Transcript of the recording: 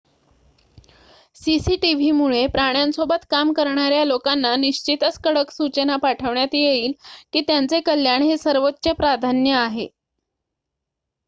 """cctv मुळे प्राण्यांसोबत काम करणार्‍या लोकांना निश्चितच कडक सूचना पाठवण्यात येईल की त्यांचे कल्याण हे सर्वोच्च प्राधान्य आहे.""